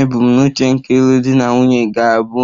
Ebumnuche nke ịlụ di na nwunye ga-abụ